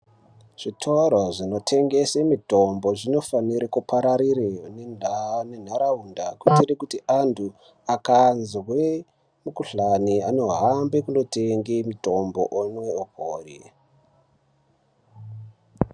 Zvitoro zvinotengese mutombo zvinofanire kupararire mundaa nentaraunda kuitire kuti antu akazwe mukhuhlani anohambe kunotenge mutombo omwe opore.